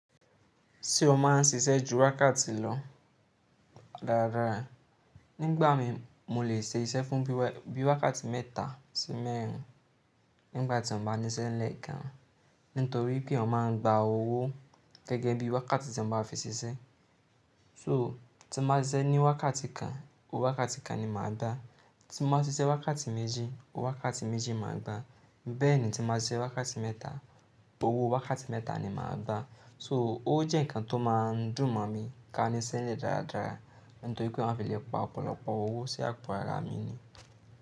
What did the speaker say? Tí o máa ń ṣiṣẹ́ ju wákàtí lọ dáradára. Nígbà míì, mo lè ṣe iṣẹ́ fún bíi wákàtí mẹ́ta sí mẹ́rin nígbà tí mo bá níṣẹ́ ńlẹ̀ gan-an. Nítorí pé èèyàn máa ń gba owó gẹ́gẹ́ bí wákàtí tí wọn bá fi ṣiṣẹ́. So tí mo bá ṣiṣẹ́ ní wákàtí kan, owó wákàtí kan ni màá gba. Tí mo bá ṣiṣẹ́ wákàtí méjì, owó wákàtí méjì màá gba. Bẹ́ẹ̀ ni tí mo bá ṣiṣẹ́ wákàtí mẹ́ta, owó wákàtí mẹ́ta ni màá gba. So, ó jẹ́ nǹkan tó máa ń dùn mọ̀ mi ká níṣẹ́ ńlẹ̀ dáradára nítorí pé wọn á fí lè pa ọ̀pọ̀lọpọ̀ owó sí àpò ara mi ni.